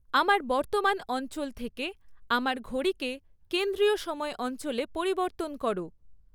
আমার বর্তমান অঞ্চল থেকে আমার ঘড়িকে কেন্দ্রীয় সময় অঞ্চলে পরিবর্তন করো